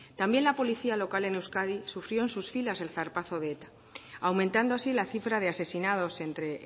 también la policía local en euskadi sufrió en sus filas el zarpazo de eta aumentando así la cifra de asesinados entre